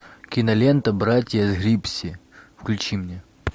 кинолента братья гипси включи мне